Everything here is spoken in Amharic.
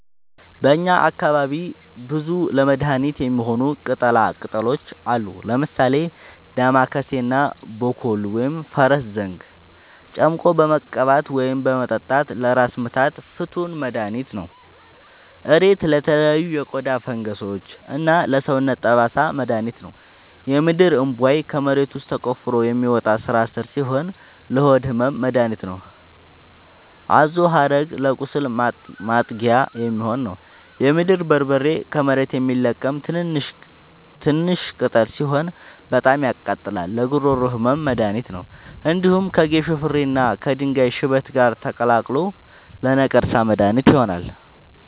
በእኛ አካባቢ ብዙ ለመድሀነት የሚሆኑ ቅጠላ ቅጠሎች አሉ። ምሳሌ፦ ዳማከሴ እና ቦኮሉ(ፈረስዘንግ) ጨምቆ በመቀባት ወይም በመጠጣት ለራስ ምታት ፍቱን መድሀኒት ነው። እሬት ለተለያዩ የቆዳ ፈንገሶች እና ለሰውነት ጠባሳ መድሀኒት ነው። የምድርእንቧይ ከመሬት ውስጥ ተቆፍሮ የሚወጣ ስራስር ሲሆን ለሆድ ህመም መደሀኒት ነው። አዞሀረግ ለቁስል ማጥጊያ የሚሆን ነው። የምድር በርበሬ ከመሬት የሚለቀም ትንሽሽ ቅጠል ሲሆን በጣም ያቃጥላል ለጉሮሮ ህመም መድሀኒት ነው። እንዲሁም ከጌሾ ፍሬ እና ከድንጋይ ሽበት ጋር ተቀላቅሎ ለነቀርሳ መድሀኒት ይሆናል።